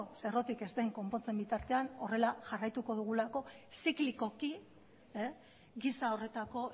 ze errotik ez den konpontzen bitartean horrela jarraituko dugulako ziklikoki giza horretako